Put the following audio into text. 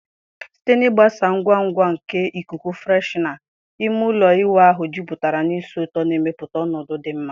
Site na ịgbasa ngwa ngwa nke ikuku freshener, ime ụlọ ịwụ ahụ jupụtara na ísì ụtọ, na-emepụta ọnọdụ dị mma.